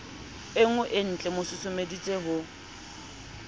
e nngweentlee mo susumeleditse ho